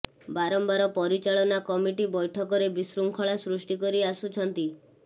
ବାରମ୍ବାର ପରିଚାଳନା କମିଟି ବୈଠକରେ ବିଶୃଙ୍ଖଳା ସୃଷ୍ଟି କରି ଆସୁଛନ୍ତି